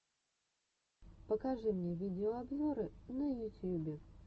покажи мне видеообзоры на ютьюбе